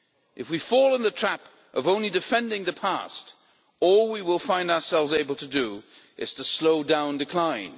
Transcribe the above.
If we fall in the trap of only defending the past, all we will find ourselves able to do, is to slow down decline.